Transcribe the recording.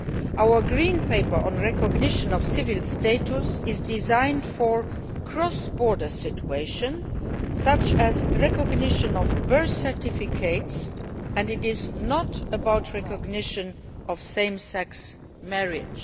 Our green paper on recognition of civil status is designed for cross border situations, such as the recognition of birth certificates, and is not concerned with the recognition of same sex marriage.